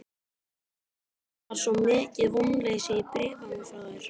Það var svo mikið vonleysi í bréfunum frá þér.